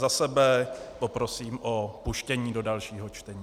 Za sebe poprosím o vpuštění do dalšího čtení.